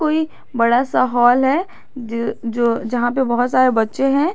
ये बड़ा सा हाल है ज जो जहां पे बहुत सारे बच्चे हैं।